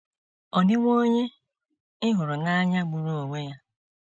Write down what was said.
Ọ̀ Dịwo Onye Ị Hụrụ n’Anya Gburu Onwe Ya?